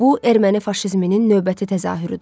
Bu Erməni faşizminin növbəti təzahürüdür.